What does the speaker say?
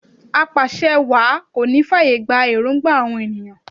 Apàṣẹwàá kò ní fàyè gba èròngba àwọn ènìyàn